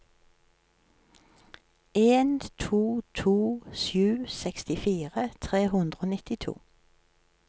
en to to sju sekstifire tre hundre og nittito